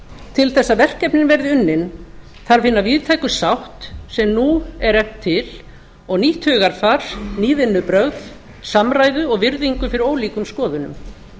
til þess að verkefnin verði unnin þarf hina víðtæku sátt sem nú er efnt til og nýtt hugarfar ný vinnubrögð samræðu og virðingu fyrir ólíkum skoðunum